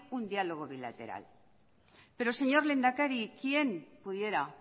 un dialogo bilateral pero señor lehendakari quién pudiera